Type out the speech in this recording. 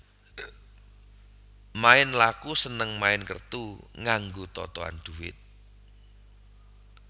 Main laku seneng main kertu nganggo totohan dhuwit